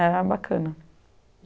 Era bacana.